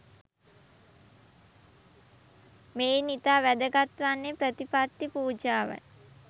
මෙයින් ඉතා වැදගත් වන්නේ ප්‍රතිපත්ති පූජාවයි.